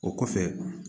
O kɔfɛ